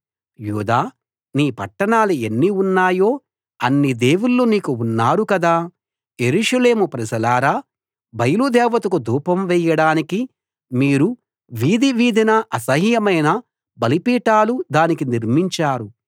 యూదా నీ పట్టణాలు ఎన్ని ఉన్నాయో అన్ని దేవుళ్ళు నీకు ఉన్నారు కదా యెరూషలేము ప్రజలారా బయలు దేవతకు ధూపం వేయడానికి మీరు వీధి వీధినా అసహ్యమైన బలిపీఠాలు దానికి నిర్మించారు